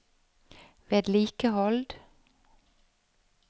vedlikehold